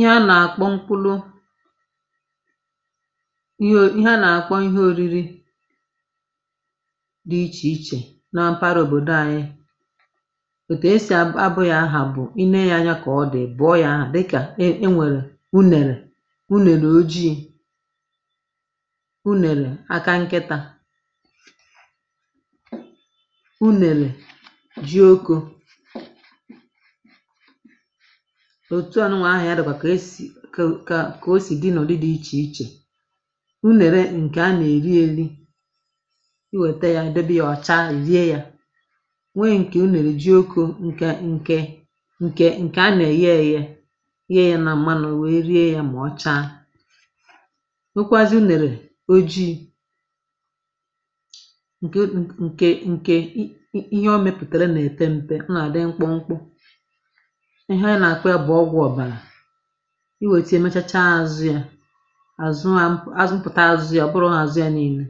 Ihe a nà-àkpọ mkpụlụ ihe ori ihe a nà-àkpọ ihe ȯri̇ri̇ dị̇ ichè ichè na mpaghara òbòdò anyị, otu esì abọ abụ ya aha bụ̀ i lee ya anya kà ọ dị̀ ị̀ bụ̀ọ yȧ aha, dịkà e nwèrè unèrè unèrè ojii̇, unèrè aka nkịtȧ, unere ji oko. Otuànụnwụ̇ aha ya dị̇ kà ka kà o sì dị nụdị dị ichè ichè. Unèrè ǹkè a nà-èri eli i nwèta ya, i debị a ọ̀ chaa i rie ya. Nwee ǹkè unèrè ji okȯ ǹkè ǹkè ǹkè a nà-èye eye yee ya nà m̀manụ̀ wèe rie ya mà ọ cha. Nwokwaazịe unèrè ojii [n n] nke nke ihe o mepụtere nepempe, ọ na-adị mkpụmkpụ, ihe a nà-àkpọ ya bụ̀ ọgwụ̀ ọ̀bàlà. I wètịe mechacha azụ ya àzụ a azụ azụmpụ̀ta azụ ya ọ̀ bụrọ azụ ya niilė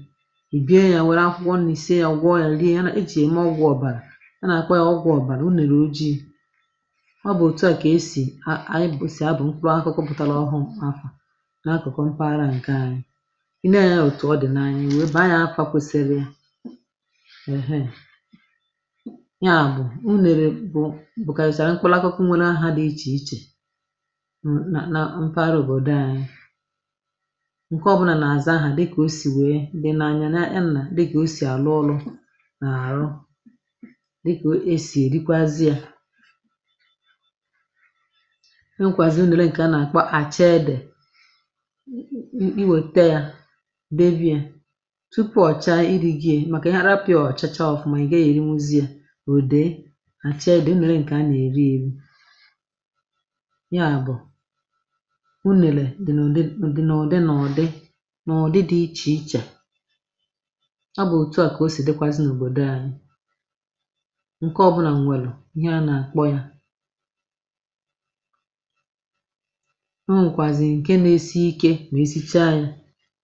bie ya wère akwụkwọ nni̇ sie ya nwụọ ya rie ya na. E jì yème ọgwụ̀ ọ̀bàlà a nà-àkpọ ya ọgwụ̀ ọ̀bàlà unèrè ojii̇ ọ bụ̀ òtù a kà esì a ànyi sì abụ̀ mkpụrụakụkụ pụ̀tàrà ọhụ̀ọ aha n’akụ̀kụ mpaghara ǹke aṅyị. I nee ya òtù ọ dị̀ n’anya i wee baa nya afa kwèsịrị ya nya bụ unere bụ mkpụlakụkụ nwėkarịsịrị aha dị ichè ichè m nà na mpaghara òbòdo ànyị, ǹkè ọ bụnà nà àza aha dịkà o sì wèe di na anya nya nà dịkà o sì àlụ ọlụ̇ nà àrụ dịkà o sì èrikwazi yȧ. E nkwàziri ǹkè a nà àkpọ àcha edè [nnn] i wetie debe yȧ tupu ọ̀cha i ri̇ gi ye màkà i hapụ ya ọ̀ chacha ọ̀fụma ị̀ gà èrinwuzi yȧ o dee acha ede unèrè nke a na-eri eri. nya bụ unele dị n’òdị ọdị nà ọ̀dị nà ọ̀ dị nà ọ̀ dị dị̇ ichè iche, ọ bụ̀ òtu à kà o sì dịkwazị n’òbòdò àyị ǹke ọ̀bụnà m̀wèlụ ihe a nà àkpọ yȧ nà o nwekwàzị̀ ǹke na-esi ike mà esichaa yȧ,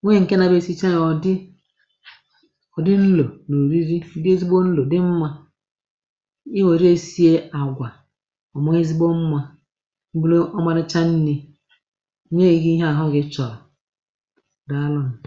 nwee ǹke nȧ bụ̇ esichaa yȧ ọ̀ dị ọ̀dị nlo noriri dị ezigbo nlò dị mmȧ I were ya sie agwa ọ̀ maa ezigbo mmȧ bụrụ ọmarịcha nni̇ nye gi ihe àhụ gị chọ̀rọ̀, dàalụnụ.